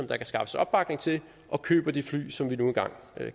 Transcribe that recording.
kan skaffes opbakning til og køber de fly som vi nu engang